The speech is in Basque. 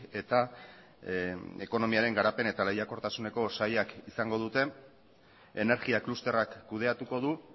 eta ekonomiaren garapen eta lehiakortasuneko sailak izango dute energia klusterrak kudeatuko du